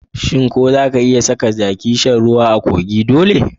Shin ko zaka iya saka jaki shan ruwa a kogi dole?